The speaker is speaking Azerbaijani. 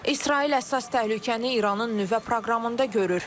İsrail əsas təhlükəni İranın nüvə proqramında görür.